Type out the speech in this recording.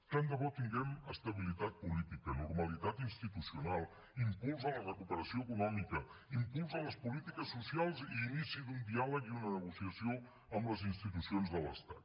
tant de bo tinguem estabilitat política normalitat institucional impuls a la recuperació econòmica impuls a les polítiques socials i inici d’un diàleg i una negociació amb les institucions de l’estat